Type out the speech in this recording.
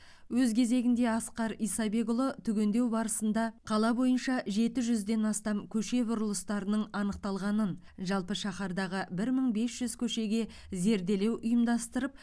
өз кезегінде асқар исабекұлы түгендеу барысында қала бойынша жеті жүзден астам көше бұрылыстарының анықталғанын жалпы шаһардағы бір мың бес жүз көшеге зерделеу ұйымдастырып